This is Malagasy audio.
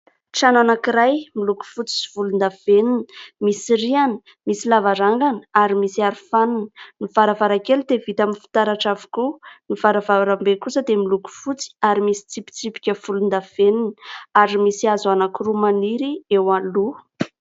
Trano anankiray miloko fotsy sy volondavenona. Misy rihana, misy lavarangana ary misy arofanina. Ny varavarankely dia vita amin'ny fitaratra avokoa. Ny varavarambe kosa dia miloko fotsy ary misy tsipitsipika volondavenona ary misy hazo anankiroa maniry eo aloha.